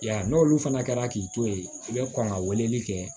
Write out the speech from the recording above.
Ya n'olu fana kɛra k'i to yen i bɛ kɔn ka weleli kɛ